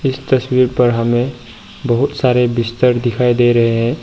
इस तस्वीर पर हमें बहुत सारे बिस्तर दिखाई दे रहे हैं।